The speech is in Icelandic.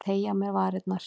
Ég teygi á mér varirnar.